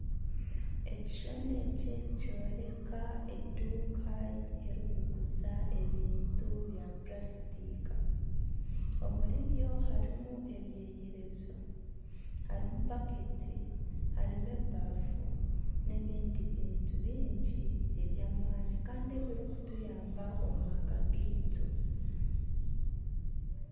Ekishushani eki nikyoreeka eduuka erikuguza ebintu bya puraasitiika, omuri byo harimu ebyeyerezo, harimu bakeeti, harimu ebafu, n'ebindi bintu bingi eby'amaani kandi ebirikutuyamba omu maka gaitu